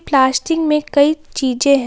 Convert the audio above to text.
Plastic में कई चीजे हैं।